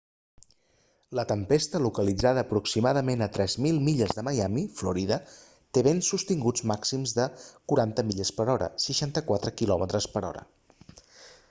la tempesta localitzada aproximadament a 3.000 milles de miami florida té vents sostinguts màxims de 40 mph 64 km/h